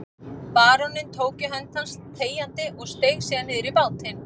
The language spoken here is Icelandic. Baróninn tók í hönd hans þegjandi og steig síðan niður í bátinn.